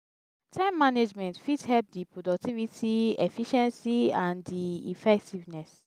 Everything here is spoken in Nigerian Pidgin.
time management fit help di productivity efficiency and di effectiveness.